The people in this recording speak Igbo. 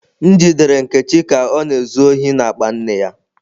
M jidere Nkechi ka ọ na-ezu ohi n'akpa nne ya.